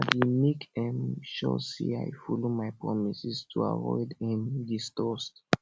i dey make um sure say i follow my promises to avoid um distrust